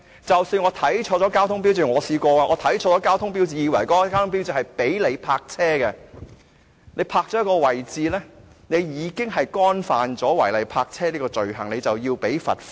我試過看錯交通標誌，但即使我看錯了交通標誌，以為那個交通標誌是准許泊車的，你在該個位置泊車，便已觸犯了違例泊車的罪行，須繳交罰款。